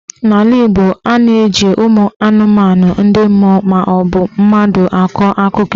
N'ala Igbo, a na-eji ụmụ anụmanụ, ndị mmụọ maọbụ mmadụ akọ akụkọ ifo.